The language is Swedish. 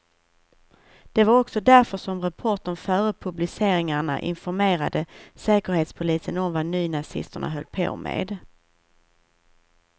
Det var också därför som reportern före publiceringarna informerade säkerhetspolisen om vad nynazisterna höll på med.